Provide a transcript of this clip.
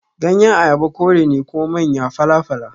Ganyen Ayaba kore ne kuma manya fala-fala.